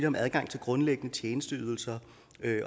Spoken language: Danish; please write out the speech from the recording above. om adgang til grundlæggende tjenesteydelser